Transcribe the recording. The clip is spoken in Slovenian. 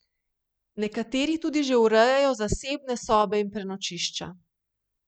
Nekateri tudi že urejajo zasebne sobe in prenočišča.